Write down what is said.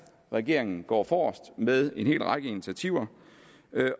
regeringen går forrest med en hel række initiativer